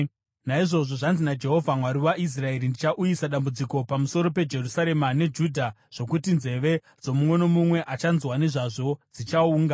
Naizvozvo zvanzi naJehovha, Mwari waIsraeri: Ndichauyisa dambudziko pamusoro peJerusarema neJudha zvokuti nzeve dzomumwe nomumwe achanzwa nezvazvo dzichaunga.